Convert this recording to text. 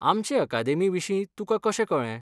आमचे अकादेमी विशीं तुकां कशें कळ्ळें?